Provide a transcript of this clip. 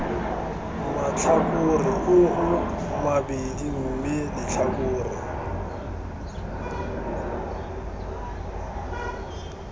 matlhakore oo mabedi mme letlhakore